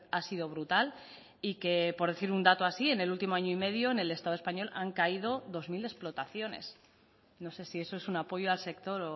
ha sido brutal y que por decir un dato así en el último año y medio en el estado español han caído dos mil explotaciones no sé si eso es un apoyo al sector